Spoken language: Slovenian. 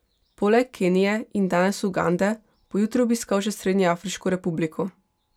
Poleg Kenije in danes Ugande bo jutri obiskal še Srednjeafriško republiko.